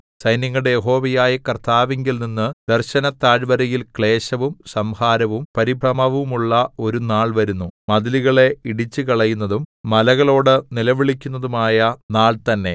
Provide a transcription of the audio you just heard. സൈന്യങ്ങളുടെ യഹോവയായ കർത്താവിങ്കൽനിന്നു ദർശനത്താഴ്വരയിൽ ക്ലേശവും സംഹാരവും പരിഭ്രമവുമുള്ള ഒരു നാൾ വരുന്നു മതിലുകളെ ഇടിച്ചുകളയുന്നതും മലകളോട് നിലവിളിക്കുന്നതും ആയ നാൾ തന്നെ